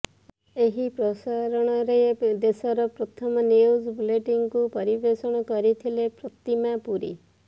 ଏହି ପ୍ରସାରଣରେ ଦେଶର ପ୍ରଥମ ନ୍ୟୁଜ୍ ବୁଲେଟିନକୁ ପରିବେଷଣ କରିଥିଲେ ପ୍ରତିମା ପୁରୀ